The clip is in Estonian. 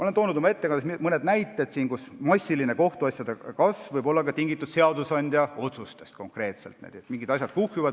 Ma tõin oma ettekandes mõne näite selle kohta, et kohtuasjade arvu suur kasv võib olla tingitud ka konkreetselt seadusandja otsustest.